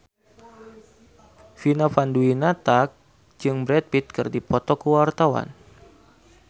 Vina Panduwinata jeung Brad Pitt keur dipoto ku wartawan